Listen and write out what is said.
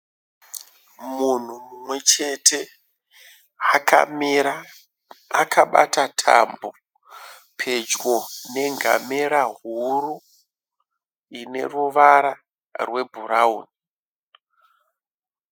Munhu mumwe chete akamira akabata tambo pedyo nengamera huru ine ruvara rwebhurauni.